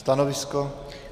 Stanovisko?